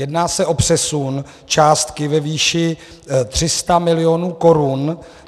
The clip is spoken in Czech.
Jedná se o přesun částky ve výši 300 milionů korun.